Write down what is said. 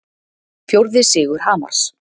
Fjórði sigur Hamars